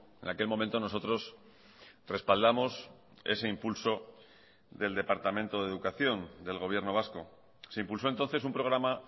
en aquel momento nosotros respaldamos ese impulso del departamento de educación del gobierno vasco se impulsó entonces un programa